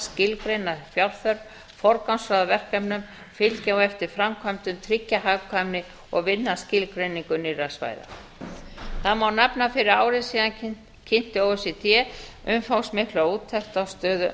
skilgreina fjárþörf forgangsraða verkefnum fylgja á eftir framkvæmdum tryggja hagkvæmni og vinna að skilgreiningu nýrra svæða það má nefna að fyrir ári síðan kynnti o e c d umfangsmikla úttekt á stöðu